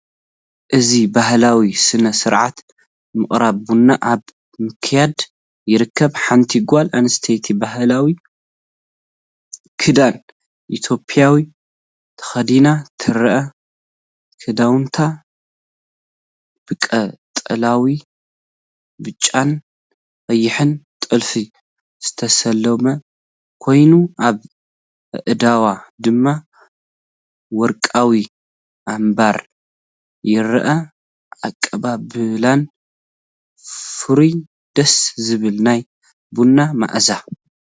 እዚ ባህላዊ ስነ-ስርዓት ምቅራብ ቡን ኣብ ምክያድ ይርከብ። ሓንቲ ጓል ኣንስተይቲ ባህላዊ ክዳን ኢትዮጵያ ተኸዲና ትርአ። ክዳውንታ ብቀጠልያን ብጫን ቀይሕን ጥልፊ ዝተሰለመ ኮይኑ፡ ኣብ ኣእዳዋ ድማ ወርቃዊ ኣምባር ይርአ። ኣቀባብላን ፍሩይ ደስ ዝብል ናይ ቡና ማኣዛ።